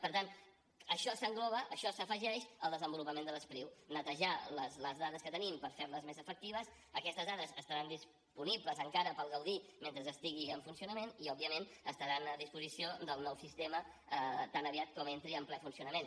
per tant això s’engloba això s’afegeix al desenvolupament de l’e spriu netejar les dades que tenim per fer les més efectives aquestes dades estaran disponibles encara per al g udí mentre estigui en funcionament i òbviament estaran a disposició del nou sistema tan aviat com entri en ple funcionament